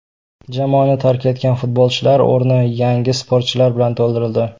Jamoani tark etgan futbolchilar o‘rni yangi sportchilar bilan to‘ldirildi.